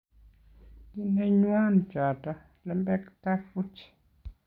kineywon choto, lembekta buch